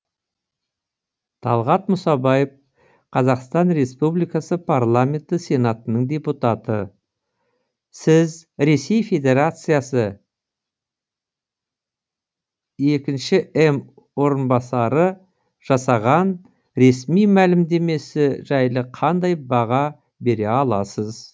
талғат мұсабаев қазақстан республикасы парламенті сенатының депутаты сіз ресей федерациясы екінші м орынбасары жасаған ресми мәлімдемесі жайлы қандай баға бере аласыз